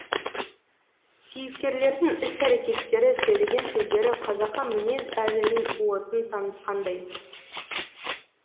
кейіпкерлердің іс әрекеттері сөйлеген сөздері қазақы мінез әзілдің уытын танытқандай